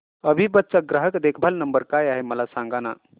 अभिबस चा ग्राहक देखभाल नंबर काय आहे मला सांगाना